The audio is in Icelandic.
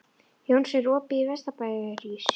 Jónsi, er opið í Vesturbæjarís?